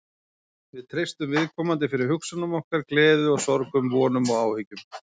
Við treystum viðkomandi fyrir hugsunum okkar, gleði og sorgum, vonum og áhyggjum.